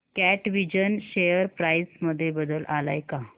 कॅटविजन share price मध्ये बदल आलाय का